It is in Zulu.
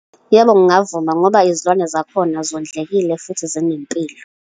Yebo, ngingavuma. Ngoba izilwane zakhona zondlekile, futhi zinempilo.